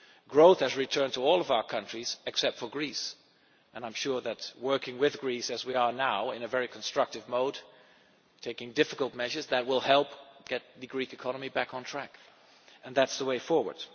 Growth has returned to all of our countries except for Greece, and I am sure that working with Greece as we are now in a very constructive mode, and taking difficult measures that will help get the Greek economy back on track, is the way forward.